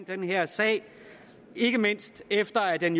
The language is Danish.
den her sag ikke mindst efter at den